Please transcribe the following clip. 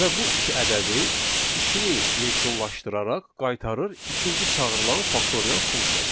Və bu iki ədədi işini yekunlaşdıraraq qaytarır ikinci çağırılan faktorial funksiyasına.